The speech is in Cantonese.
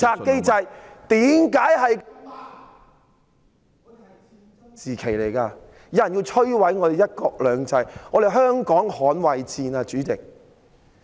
現時有人要摧毀我們的"一國兩制"，主席，這是捍衞香港的戰爭。